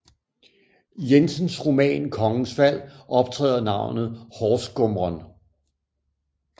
Jensens roman Kongens Fald optræder navnet horsgumren